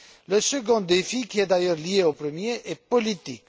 Le second défi, qui est d'ailleurs lié au premier, est politique.